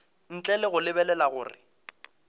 ntle le go lebelela gore